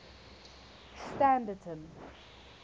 standerton